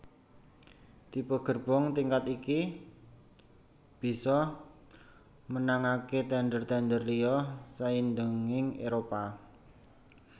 Tipe gerbong tingkat iki bisa menangaké tènder tènder liya saindhenging Éropah